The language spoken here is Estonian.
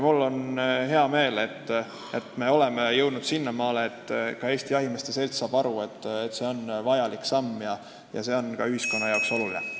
Mul on hea meel, et me oleme jõudnud sinnamaale, et ka Eesti Jahimeeste Selts saab aru, et see on vajalik samm ja see on ka ühiskonnale oluline.